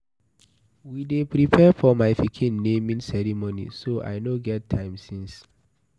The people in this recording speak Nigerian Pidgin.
We dey prepare for my pikin naming ceremony so I no get time since.